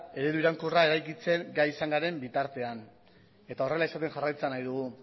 eredu iraunkorra eraikitzen gai izan garen bitartean eta horrela izaten jarraitzea nahi dugu